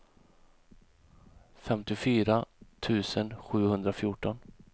femtiofyra tusen sjuhundrafjorton